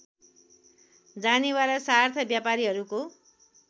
जानेवाला सार्थ व्यापारीहरूको